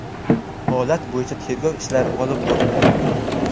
Holat bo‘yicha tergov ishlari olib borilmoqda.